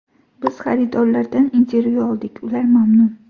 Biz xaridorlardan intervyu oldik, ular mamnun.